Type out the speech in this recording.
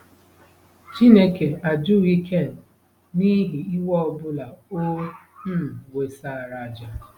Chineke ajụghị Ken n'ihi iwe ọ bụla o um wesara àjà.